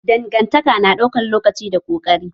Dangantaka na ɗaukan lokaci da ƙoƙari